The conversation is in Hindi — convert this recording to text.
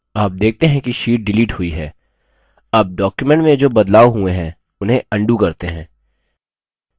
आप देखते है कि sheet डिलीट हुई है अब document में जो बदलाव हुए है उन्हें अन्डू करते हैं